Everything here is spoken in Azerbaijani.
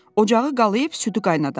Ocağı qalayib südü qaynadarsan.